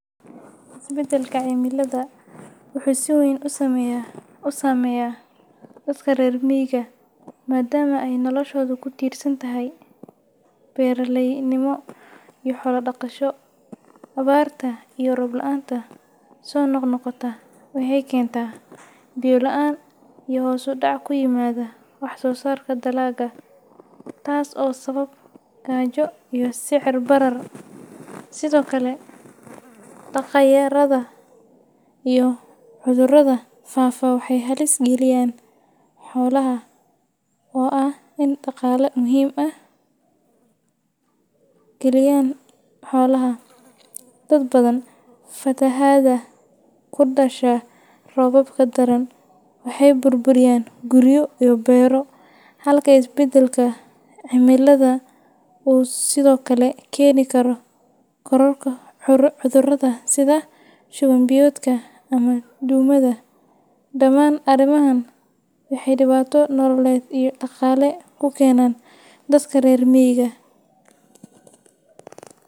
Isbeddelka cimilada wuxuu si weyn u saameeyaa dadka reer miyiga maadaama ay noloshoodu ku tiirsan tahay beeraleynimo iyo xoolo-dhaqasho. Abaarta iyo roob la’aanta soo noqnoqota waxay keentaa biyo la’aan iyo hoos u dhac ku yimaada wax-soosaarka dalagga, taas oo sababa gaajo iyo sicir-barar. Sidoo kale, daaqa yaraada iyo cudurrada faafa waxay halis geliyaan xoolaha, oo ah il dhaqaale muhiim u ah dad badan. Fatahaadaha ka dhasha roobabka daran waxay burburiyaan guryo iyo beero, halka isbeddelka cimilada uu sidoo kale keeni karo kororka cudurrada sida shuban-biyoodka ama duumada. Dhammaan arrimahan waxay dhibaato nololeed iyo dhaqaale ku keenaan dadka reer miyiga.